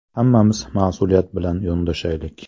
Hammamiz mas’uliyat bilan yondashaylik.